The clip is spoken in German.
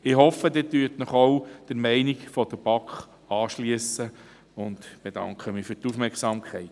Ich hoffe, Sie schliessen sich ebenfalls der Meinung der BaK an, und bedanke mich für die Aufmerksamkeit.